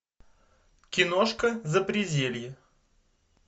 киношка запределье